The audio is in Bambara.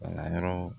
Bana yɔrɔ